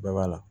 Bɛɛ b'a la